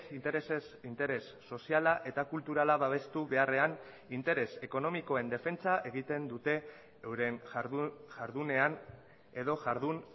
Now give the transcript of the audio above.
interesez interes soziala eta kulturala babestu beharrean interes ekonomikoen defentsa egiten dute euren jardunean edo jardun